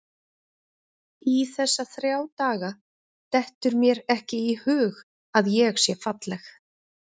Í þessa þrjá daga dettur mér ekki í hug að ég sé falleg.